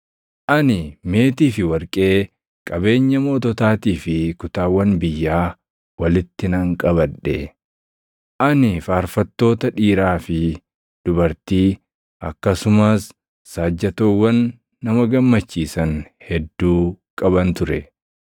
Ani meetii fi warqee, qabeenya moototaatii fi kutaawwan biyyaa walitti nan qabadhe. Ani faarfattoota dhiiraa fi dubartii akkasumas saajjatoowwan nama gammachiisan hedduu qaban ture.